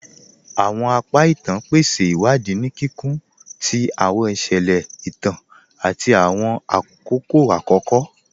Awọn apa ìtàn pèsè iwadi ni kíkún tì awọn iṣẹlẹ ìtàn àti awọn akókò akókò.